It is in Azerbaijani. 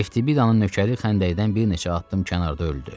Eftbidanın nökəri xəndəkdən bir neçə addım kənarda öldü.